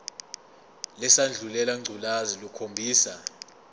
lesandulela ngculazi lukhombisa